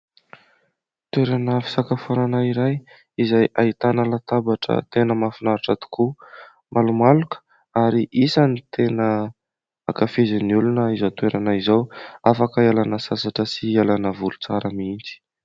Toerana fisakafoanana iray izay ahitana latabatra tena mahafinaritra tokoa. Malomaloka ary isan'ny tena ankafizin'ny olona izao toerana izao, afaka hialana sasatra sy hialana voly tsara mihitsy.